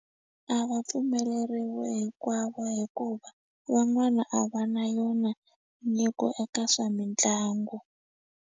A va pfumeleriwi hinkwavo hikuva van'wana a va na yona nyiko eka swa mitlangu.